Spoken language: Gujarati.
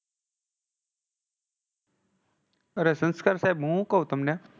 અરે સંસ્કાર સાહેબ હું શું કવ તમને.